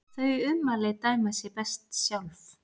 Þau ummæli dæma sig best sjálf.